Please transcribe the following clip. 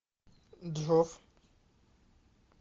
джос